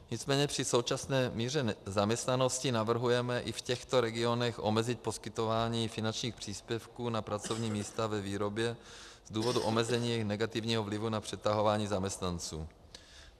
Nicméně při současné míře zaměstnanosti navrhujeme i v těchto regionech omezit poskytování finančních příspěvků na pracovní místa ve výrobě z důvodu omezení negativního vlivu na přetahování zaměstnanců.